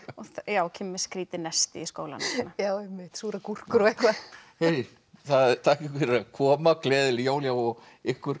kemur með skrýtið nesti í skólann einmitt súrar gúrkur og eitthvað þakka ykkur fyrir að koma og gleðileg jól já og ykkur